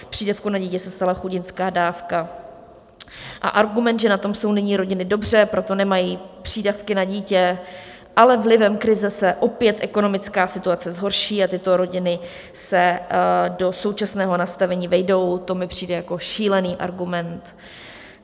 Z přídavku na dítě se stala chudinská dávka a argument, že na tom jsou nyní rodiny dobře, proto nemají přídavky na dítě, ale vlivem krize se opět ekonomická situace zhorší a tyto rodiny se do současného nastavení vejdou, to mi přijde jako šílený argument.